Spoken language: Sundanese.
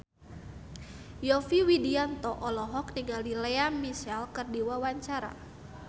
Yovie Widianto olohok ningali Lea Michele keur diwawancara